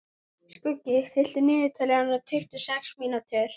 Skuggi, stilltu niðurteljara á tuttugu og sex mínútur.